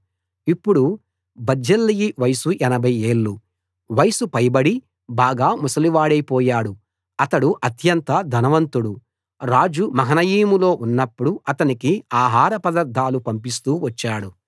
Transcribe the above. ఇప్పుడు బర్జిల్లయి వయసు 80 ఏళ్ళు వయసు పైబడి బాగా ముసలివాడైపోయాడు అతడు అత్యంత ధనవంతుడు రాజు మహనయీములో ఉన్నప్పుడు అతనికి ఆహార పదార్ధాలు పంపిస్తూ వచ్చాడు